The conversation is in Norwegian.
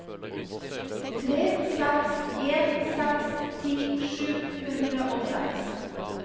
tre seks en seks ti sju hundre og seks